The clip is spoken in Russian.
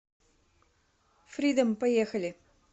фридом поехали